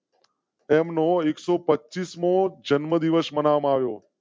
તેમનો એકસો પચીસ મો જન્મદિવસ મના-વ્યો.